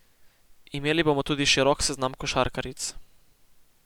Imeli bomo tudi širok seznam košarkaric.